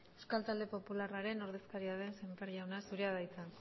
euskal talde popularraren ordezkaria den sémper jauna zurea da hitza